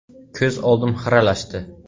Ko‘z oldim xiralashdi.